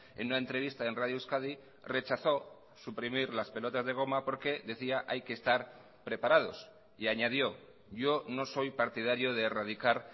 en una entrevista en radio euskadi rechazó suprimir las pelotas de goma porque decía hay que estar preparados y añadió yo no soy partidario de erradicar